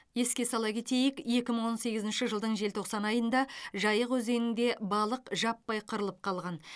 еске сала кетейік екі мың он сегізінші жылдың желтоқсан айында жайық өзенінде балық жаппай қырылып қалған